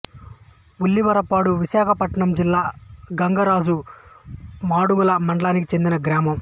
ఉల్లివరపాడు విశాఖపట్నం జిల్లా గంగరాజు మాడుగుల మండలానికి చెందిన గ్రామం